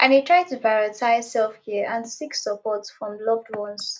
i dey try to prioritize selfcare and seek support from loved ones